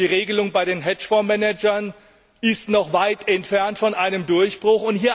Ich sage nur Die Regelung bei den Hedgefondsmanagern ist noch weit entfernt von einem Durchbruch.